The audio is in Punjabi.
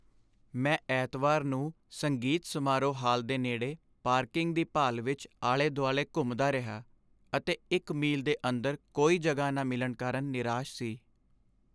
ਮੈਂ ਐਤਵਾਰ ਨੂੰ ਸੰਗੀਤ ਸਮਾਰੋਹ ਹਾਲ ਦੇ ਨੇੜੇ ਪਾਰਕਿੰਗ ਦੀ ਭਾਲ ਵਿੱਚ ਆਲੇ ਦੁਆਲੇ ਘੁੰਮਦਾ ਰਿਹਾ ਅਤੇ ਇੱਕ ਮੀਲ ਦੇ ਅੰਦਰ ਕੋਈ ਜਗ੍ਹਾ ਨਾ ਮਿਲਣ ਕਾਰਨ ਨਿਰਾਸ਼ ਸੀ